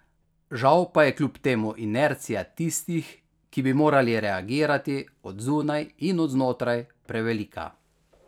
Žal pa je kljub temu inercija tistih, ki bi morali reagirati, od zunaj in od znotraj, prevelika.